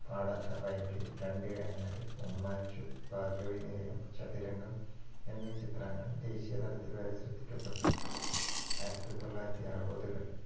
പാടാത്ത പൈങ്കിളി, രണ്ടിടങ്ങഴി, ഉമ്മാച്ചു, ഭാർഗ്ഗവീനിലയം, ചതുരംഗം എന്നീ ചിത്രങ്ങൾ ദേശീയതലത്തിൽ വരെ ശ്രദ്ധിക്കപ്പെട്ടു. ആയിരത്തി തൊള്ളായിരത്തി അറുപതുകള്‍